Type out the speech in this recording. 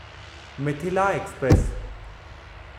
Mithila express